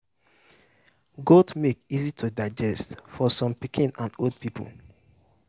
goat milk easy to digest for some pikin and old people.